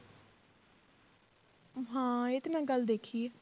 ਹਾਂ ਇਹ ਤੇ ਮੈਂ ਗੱਲ ਦੇਖੀ ਹੈ